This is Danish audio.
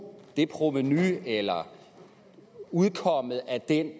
det provenu eller udkommet af den